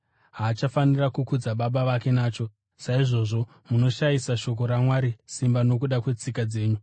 haachafaniri ‘kukudza baba vake’ nacho? Saizvozvo munoshayisa shoko raMwari simba nokuda kwetsika dzenyu.